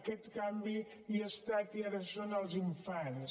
aquest canvi ja ha estat i ara són els infants